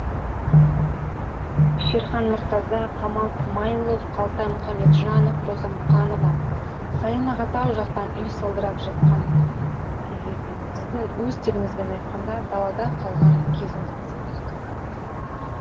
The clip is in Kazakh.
шерхан мұртаза камал смайылов қалтай мұхамеджановроза мұқанова сайын аға тау жақтан үй салдырып жатқан кезі екен сіздің өз тіліңізбен айтқанда далада қалған кезіңіз болса керек